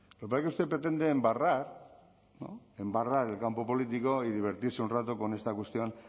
lo que pasa es que usted pretende embarrar no embarrar el campo político y divertirse un rato con esta cuestión